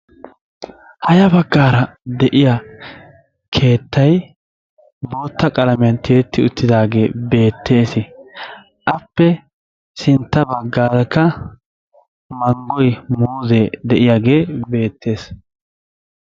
Ha ya baggaara de'iya keettay bootta qalamiayn tiyetti uttidage beetees. Appe sintta baggaaraka manggoy, muuze, de'iyage beettees.